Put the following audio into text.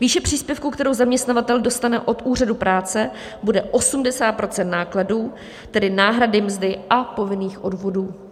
Výše příspěvku, kterou zaměstnavatel dostane od úřadu práce, bude 80 % nákladů, tedy náhrady mzdy a povinných odvodů.